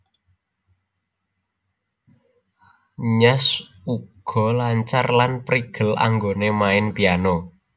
Nyash uga lancar lan prigel anggonè main Piano